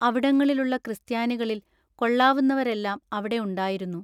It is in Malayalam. അവിടങ്ങളിലുള്ള ക്രിസ്ത്യാനികളിൽ കൊള്ളാവുന്നവരെല്ലാം അവിടെ ഉണ്ടായിരുന്നു.